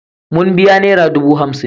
Mun biya nera dubu hamsin.